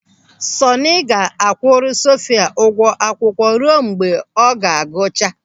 Sọọnị ga-akwụrụ Sofia ụgwọ akwụkwọ ruo mgbe ọ ga-agụcha.